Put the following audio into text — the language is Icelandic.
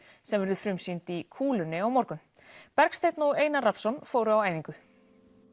sem verður frumsýnd í kúlunni á morgun Bergsteinn og Einar Rafnsson fóru á æfingu